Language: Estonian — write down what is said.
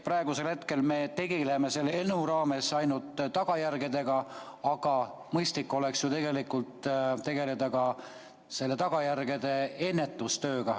Praegu me tegeleme selle eelnõu puhul ainult tagajärgedega, aga mõistlik oleks ju tegeleda ka ennetustööga.